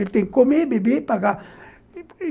Ele tem que comer, beber e pagar.